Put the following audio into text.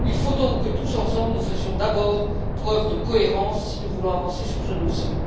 Il faut donc que, tous ensemble, nous fassions d'abord preuve de cohérence si nous voulons avancer sur ce dossier.